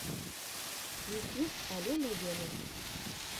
ютьюб алена венум